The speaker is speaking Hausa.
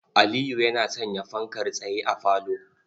Aliyu yana sanya fankar tsaye a falo.